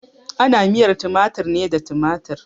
Ana miyar tumatir ne da tumatir.